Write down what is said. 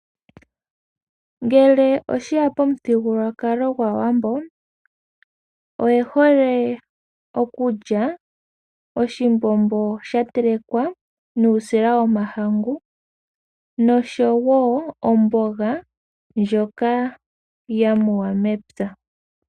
Ngele osheya pomuthigululwakalo gwaawambo oye hole okulya oshimbombo shatelekwa nuusila womahangu nomboga ndyoka yamuwa mepya.